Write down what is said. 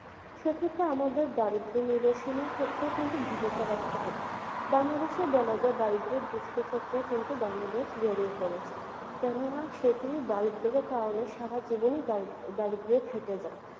সেক্ষেত্রে আমাদের দারিদ্র্য নিদর্শন এর ক্ষেত্রেও কিন্তু ভূমিকা রাখতে হবে বাংলাদেশে বলা যায় দারিদ্র্যের দুষ্টচক্রে কিন্তু বাংলাদেশ জড়িয়ে পড়েছে কেননা সেটি দারিদ্র্যের কারণে সারা জীবনই দারিদ্র দারিদ্র্যে থেকে যায়